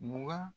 Mugan